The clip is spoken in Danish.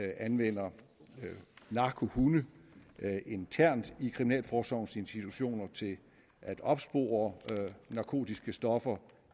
anvender narkohunde internt i kriminalforsorgens institutioner til at opspore narkotiske stoffer